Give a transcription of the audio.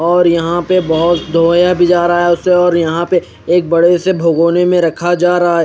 और यहा पे बहोत धोया भी जा रहा है उसे और यहा पे एक बड़े से भगोने के रखा जा रहा है।